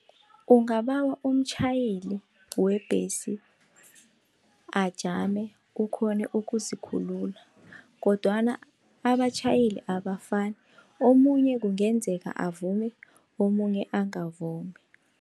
Ungabawa umtjhayeli webhesi ajame ukghone ukuzikhulula kodwana abatjhayeli abafani, omunye kungenzeka avume omunye angavumi.